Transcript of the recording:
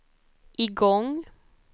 igång